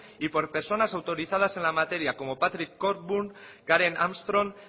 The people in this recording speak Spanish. y por personas autorizadas en la materia como patrick cogburn karen armstrong